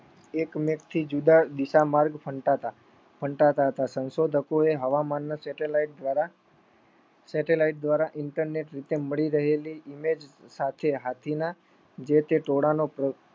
એકમેકથી જુદા દિશા માર્ગ ફંટાતા ફંટાતા હતા. સંશોધકો એ હવામાનના satellite દ્વારા inetnet રીતે મળી રહેલી image સાથે હાથીના જે તે ટોળાનું